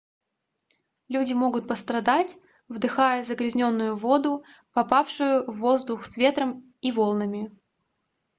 люди могут пострадать вдыхая загрязненную воду попавшую в воздух с ветром и волнами